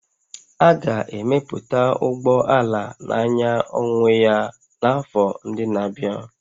A ga-emepụta ụgbọ ala na-anya onwe ya n'afọ ndị na-abịa